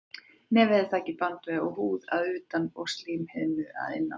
Nefið er þakið bandvef og húð að utan og slímhimnu að innan.